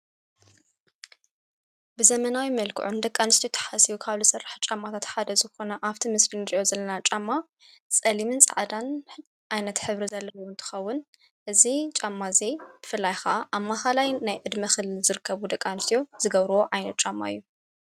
ብዘመናዊ መልክዑ ን ደቃንስቶ ተሓሲቡ ካብል ሠርሕ ጫማታት ሓደ ዝኾነ ኣብቲ ምስል ንድልእዮ ዘለና ጫማ ጸሊምን ፃዕዳን ኣይነት ኅብሪ ዘለዎ ትኸውን እዙ ጫማ እዘይ ብፍላይኻ ኣብ ማኻላይ ናይ እድሚኽል ዝርከቡ ደቃንስትዮ ዝገብርዎ ኣይኖጻማ እዩ።